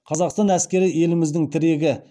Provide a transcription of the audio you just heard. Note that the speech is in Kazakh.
қазақстан әскері еліміздің тірегі